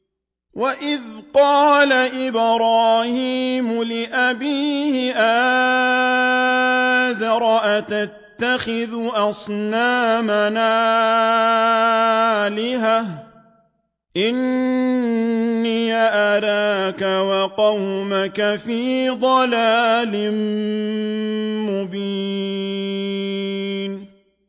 ۞ وَإِذْ قَالَ إِبْرَاهِيمُ لِأَبِيهِ آزَرَ أَتَتَّخِذُ أَصْنَامًا آلِهَةً ۖ إِنِّي أَرَاكَ وَقَوْمَكَ فِي ضَلَالٍ مُّبِينٍ